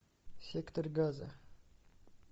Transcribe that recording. сектор газа